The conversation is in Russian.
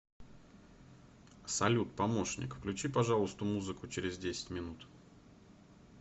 салют помощник включи пожалуйста музыку через десять минут